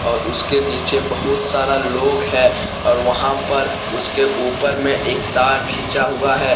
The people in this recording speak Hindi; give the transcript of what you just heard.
और उसके नीचे बहुत सारा लोग है और वहां पर उसके ऊपर में एक तार खींचा हुआ है।